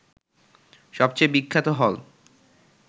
সবচেয়ে বিখ্যাত হল